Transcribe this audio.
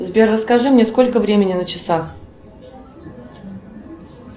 сбер расскажи мне сколько времени на часах